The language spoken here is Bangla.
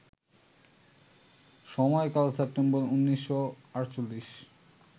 সময়কাল সেপ্টেম্বর ১৯৪৮